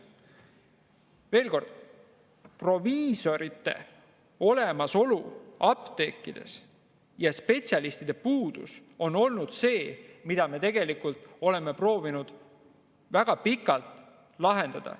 Veel kord: proviisorite olemasolu apteekides ja spetsialistide puudus on olnud see, mida me oleme proovinud väga pikalt lahendada.